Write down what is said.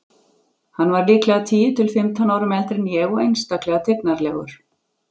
Hann var líklega tíu til fimmtán árum eldri en ég og einstaklega tignarlegur.